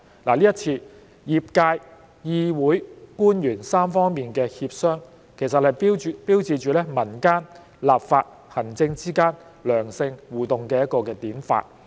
這一次業界、議會、官員3方面的協商，其實標誌着民間、立法、行政之間良性互動的典範。